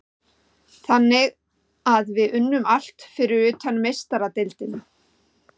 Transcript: Þannig að við unnum allt fyrir utan Meistaradeildina.